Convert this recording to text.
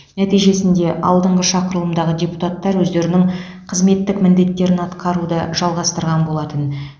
нәтижесінде алдыңғы шақырылымдағы депутаттар өздерінің қызметтік міндеттерін атқаруды жалғастырған болатын